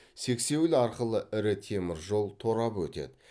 сексеуіл арқылы ірі темір жол торабы өтеді